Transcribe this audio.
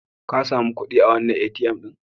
Ka sami kuɗi a wannan ATM ɗin?